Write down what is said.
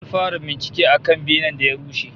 An fara bincike akan benen da ya rushe